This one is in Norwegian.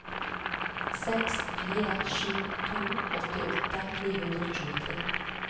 seks fire sju to åttiåtte ni hundre og tjuetre